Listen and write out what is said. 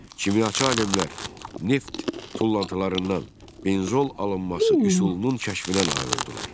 Kimyaçı alimlər neft tullantılarından benzol alınması üsulunun kəşfinə nail oldular.